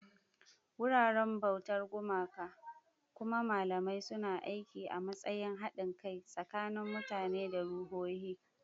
Wuraren bautar gumaka, kuma malamai suna aiki a matsayin haɗin kai tsakanin mutane da ruhohi.